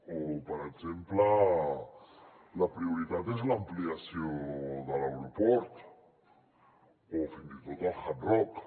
o per exemple la prioritat és l’ampliació de l’aeroport o fins i tot el hard rock